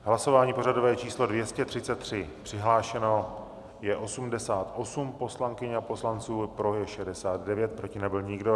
Hlasování pořadové číslo 233, přihlášeno je 88 poslankyň a poslanců, pro je 69, proti nebyl nikdo.